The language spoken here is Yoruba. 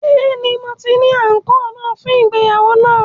Bẹẹni, Mo ni anko naa fun ìgbéyàwó naa